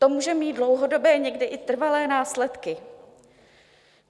To může mít dlouhodobé, někdy i trvalé následky.